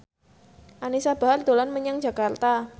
Anisa Bahar dolan menyang Jakarta